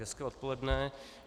Hezké odpoledne.